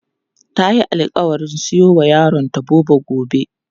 Tayi alƙawarin siyowa yaronta Bobo gobe.